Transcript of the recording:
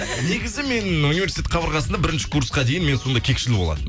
негізі мен университет қабырғасында бірінші курсқа дейін мен сондай кекшіл болатынмын